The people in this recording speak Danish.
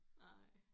Nej